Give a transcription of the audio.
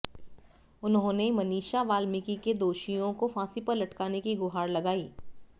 उन्होंने मनीषा वाल्मीकि के दोषियों को फांसी पर लटकाने की गुहार लगाई